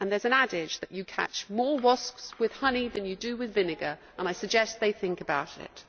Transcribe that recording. There is an adage that you catch more wasps with honey than you do with vinegar and I suggest they think about it.